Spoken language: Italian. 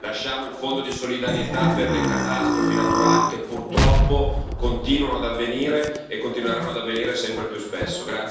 Lasciamo il fondo di solidarietà per le catastrofi naturali, che purtroppo continuano ad avvenire e continueranno ad avvenire sempre più spesso.